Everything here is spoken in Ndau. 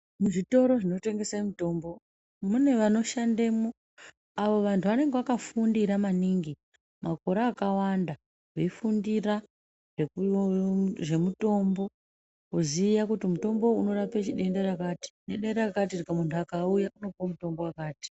Muzvitoro zvinotengesa mitombo mune vanoshandamo avo vandu vanenge vakafundira maningi makore akawanda vefundirazve mutombo kuziya kuti uyu mutombo uyu unorape denda rakati nedenda rakati mundu akauya unopiwa mutombo wakati